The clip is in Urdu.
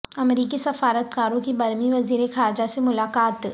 امریکی سفارت کاروں کی برمی وزیر خارجہ سے ملاقات